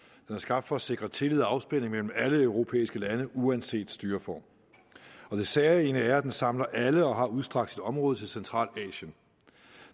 er skabt for at sikre tillid og afspænding mellem alle europæiske lande uanset styreform og det særegne er at den samler alle op og har udstrakt sit område til centralasien